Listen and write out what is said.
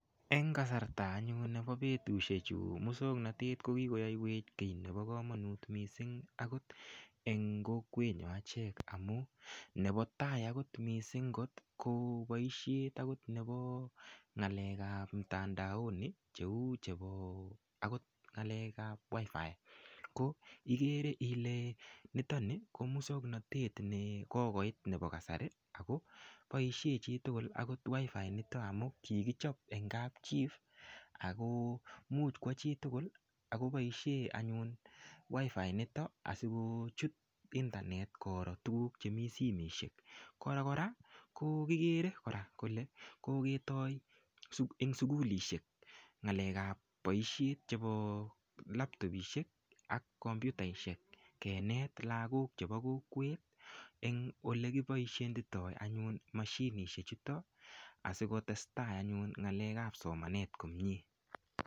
Eng' kasrta anyun nepo petushechu ko muswoknotet ko kikoyaiwech kiit nepo kamanut missing' akot eng' kokwenyon achek amu nepo tai akot missing' ko paishet nepo ng'alek ap mtandaoni cheu chepo agot ng'alek ap WIFI ko ikere ile nitoni ko muswoknotet ne kokoit nepo kasari ako paishe chi tugul akot wifi initok amu kikichop en kapchi ako much kowa chi tugul ako paishe anyun wifi initok asikochut internet koro tugul che mi simoshek. Kora kikere kole koketai eng' sukulishek ng'alek ap poishet chepk laptopidhek ak kompyutaishek kenet lakok chepo kolwet eng' ole kipaishitai anyun mashinishechutok asikotestai anyun ng'alek ap somanet komye.